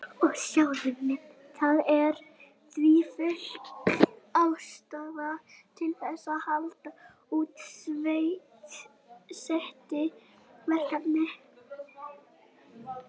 Það er því full ástæða til þess að halda úti SETI-verkefni.